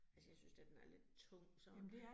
Altså jeg synes da, den er lidt tung sådan